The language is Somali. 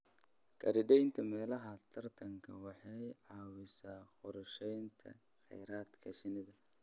Khariidaynta meelaha taranta waxay caawisaa qorsheynta kheyraadka shinnida.